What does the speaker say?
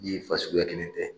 fasuguya kelen tɛ